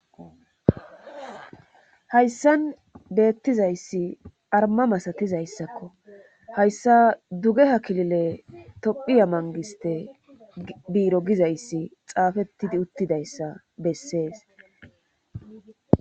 Hayssan deettizayssi arma masatizayssakko hayssa duge ha kilile tophiya mangiste biiro gizayssi xaafettidi uttidayssa bessees.